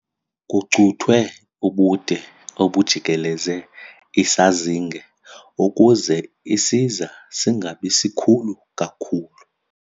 Kucuthwe ubude obujikeleze isazinge ukuze isiza singabi sikhulu kakhulu.